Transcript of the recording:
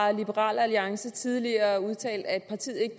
har liberal alliance tidligere udtalt at partiet ikke